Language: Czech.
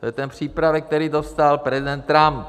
To je ten přípravek, který dostal prezident Trump.